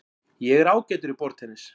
Ég er ágætur í borðtennis.